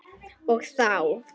Og þá!